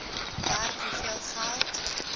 werk hoeveel geld